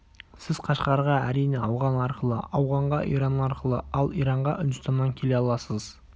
сіз қашқарға әрине ауған арқылы ауғанға иран арқылы ал иранға үндістаннан келе аласыз